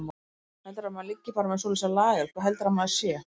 Heldurðu að maður liggi bara með svoleiðis á lager. hvað heldurðu að maður sé!